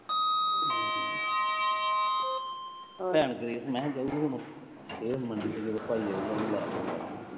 ਭੈਣ ਤੇਰੀ ਮੈਂ ਕਿਹਾ ਜਾਊਗੀ ਕਦੋਂ, ਇਹ ਉਹਦਾ ਭਾਈ ਆਊਗਾ ਉਹ ਲੈ ਜੂ ਨਾਲ